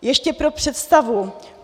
Ještě pro představu.